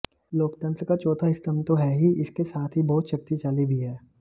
लोकतंत्र का चौथा स्तंभ तो है ही इसके साथ ही बहुत शक्तिशाली भी है